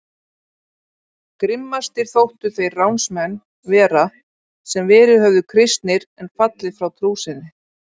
Grimmastir þóttu þeir ránsmenn vera sem verið höfðu kristnir en fallið frá trú sinni.